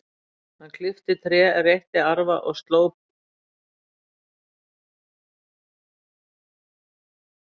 Hann klippti tré, reytti arfa og sló puntstráin með orfi.